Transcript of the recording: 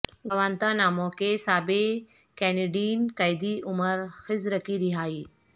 Guantanamo کے سابق Canadian قیدی عمر خضر کی رہائی